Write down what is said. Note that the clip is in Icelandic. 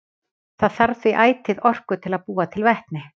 Það þarf því ætíð orku til að búa til vetni.